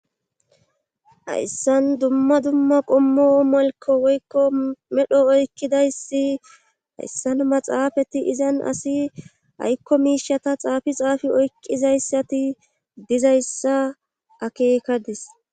hayssan dumma dumma qommo malko woykko medho oykkidayssi hayssan maxaafati izan asi aykko miishata xaafi xaafi oykkizayssati dizayssa akeekadis